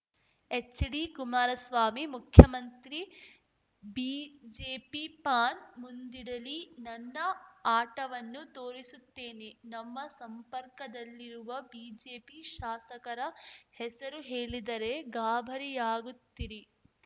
ಎಚ್‌ಡಿಕುಮಾರಸ್ವಾಮಿ ಮುಖ್ಯಮಂತ್ರಿ BJP PAN ಮುಂದಿಡಲಿ ನನ್ನ ಆಟವನ್ನು ತೋರಿಸುತ್ತೇನೆ ನಮ್ಮ ಸಂಪರ್ಕದಲ್ಲಿರುವ ಬಿಜೆಪಿ ಶಾಸಕರ ಹೆಸರು ಹೇಳಿದರೆ ಗಾಬರಿಯಾಗುತ್ತಿರಿ